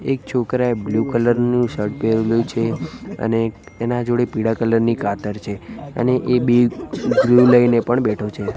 એક છોકરાએ blue colour નુ શર્ટ પેહરેલુ છે અને એક એના જોડે પીડા કલર ની કાતર છે અને એ બે ગ્લૂ લઇને પણ બેઠો છે.